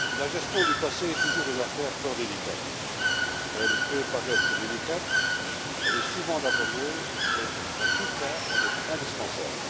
Madame la Présidente, la gestion du passé est toujours une affaire fort délicate. Elle peut paraître délicate, elle est souvent laborieuse, mais en tout cas elle est indispensable.